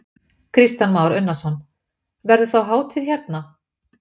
Kristján Már Unnarsson: Verður þá hátíð hérna?